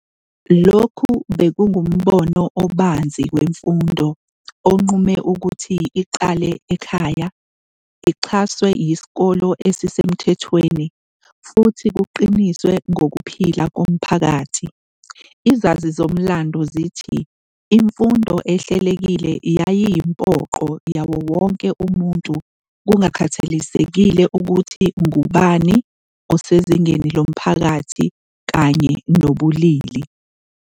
Lokhu bekungumbono obanzi wemfundo, onqume ukuthi iqale ekhaya, ixhaswe yisikole esisemthethweni, futhi kuqiniswe ngokuphila komphakathi. Izazi-mlando zithi imfundo ehlelekile yayiyimpoqo yawo wonke umuntu kungakhathalekile ukuthi ngubani osezingeni lomphakathi kanye nobulili.